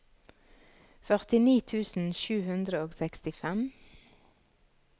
førtini tusen sju hundre og sekstifem